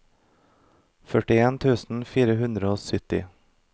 førtien tusen fire hundre og sytti